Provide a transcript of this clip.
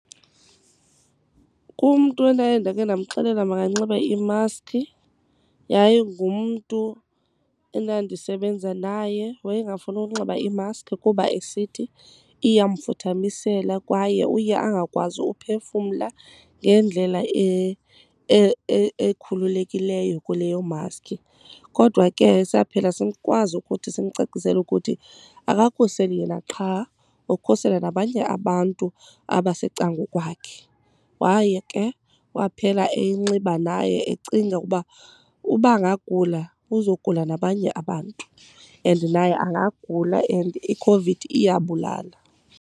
Kumntu endaye ndake ndamxelela makanxibe imaskhi yayingumntu endandisebenza naye, wayengafuni ukunxiba iimaskhi kuba esithi iyamfuthamisela kwaye uye angakwazi uphefumla ngendlela ekhululekileyo kuleyo maskhi. Kodwa ke saphela sikwazi ukuthi simcacisele ukuthi akakhuseli yena qha ukhusela nabanye abantu abasecangkwakhe. Waye ke kwaphela eyinxiba naye ecinga uba uba angagula uzogula nabanye abantu and naye angagula and iCOVID iyabulala.